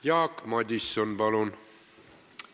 Jaak Madison, palun!